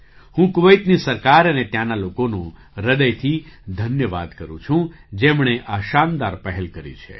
હું કુવૈતની સરકાર અને ત્યાંના લોકોનો હૃદયથી ધન્યવાદ કરું છું જેમણે આ શાનદાર પહેલ કરી છે